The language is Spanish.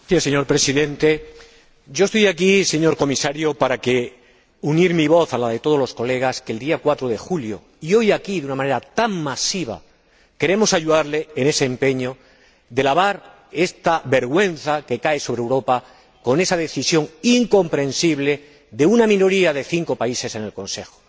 Señor Presidente, señor Comisario, yo estoy aquí para unir mi voz a la de todos los colegas que el día 4 de julio y hoy, aquí, de una manera tan masiva, queremos ayudarle en ese empeño de lavar esta vergüenza que cae sobre Europa con esa decisión incomprensible de una minoría de cinco países en el Consejo.